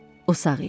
O sağ idi.